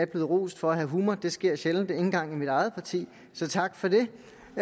blevet rost for at have humor og det sker sjældent endda også i mit eget parti så tak for det